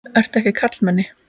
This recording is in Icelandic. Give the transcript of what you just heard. Ertu ekki karlmenni?